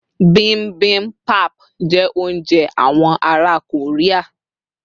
bimbimbap jé ounjẹ àwọn ará Korea